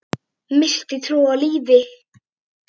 Missti trúna á lífið.